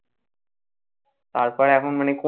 আর প্রায় এখন মানে কোন